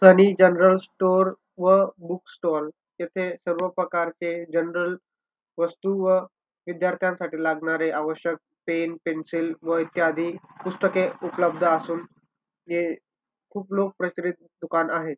General store व book stall येथे सर्व प्रकारचे जनरल वस्तू व विद्यार्थ्यांसाठी लागणारे आवश्यक पेन पेन्सिल व इत्यादी पुस्तके उपलब्ध असून हे खूप लोक दुकान आहे.